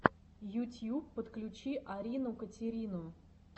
ютьюб подключи арину катерину